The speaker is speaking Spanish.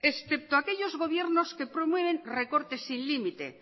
excepto aquellos gobiernos que promueven recorte sin límite